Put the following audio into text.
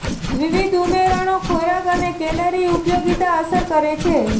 વિવિધ ઉમેરણો ખોરાક અને કેલરી ઉપયોગિતા અસર કરે છે